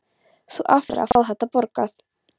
Þú átt eftir að fá þetta borgað!